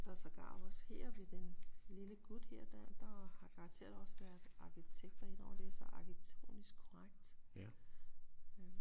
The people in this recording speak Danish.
Der er sågar også her ved den lille gut her der har garanteret også været arkitekter ind over det det er så arkitektonisk korrekt